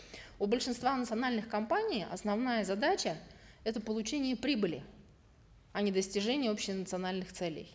у большинства национальных компаний основная задача это получение прибыли а не достижение общенациональных целей